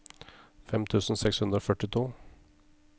fem tusen seks hundre og førtito